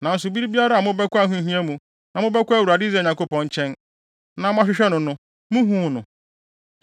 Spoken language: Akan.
Nanso bere biara a mobɛkɔ ahohia mu na mobɛkɔ Awurade Israel Nyankopɔn nkyɛn, na moahwehwɛ no no, muhuu no.